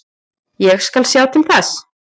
Ég skal sjá til þess.